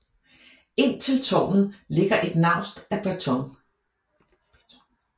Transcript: Ind til tårnet ligger et naust af beton